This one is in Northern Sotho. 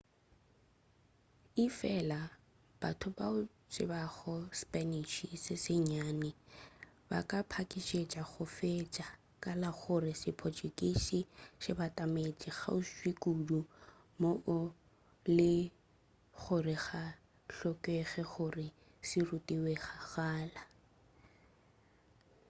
efela batho bao ba tsebago spanish se sennyane ba ka pakišetša go fetša ka la gore se portuguese se batametše kgauswi kudu moo e le go gore ga go hlokege gore se ruthwe kgakala